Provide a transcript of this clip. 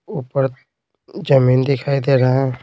ऊपर जमीन दिखाई दे रहा है।